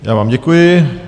Já vám děkuji.